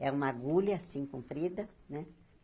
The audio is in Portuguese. É uma agulha, assim, comprida, né?